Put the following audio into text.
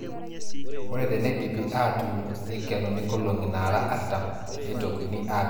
Ore teneidipi aatuun neikenuni nkolong'i naara artam neitokini aapik fatalaisa.